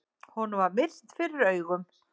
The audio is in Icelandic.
Honum var myrkt fyrir augum.